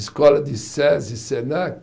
Escola de Sesi, Senac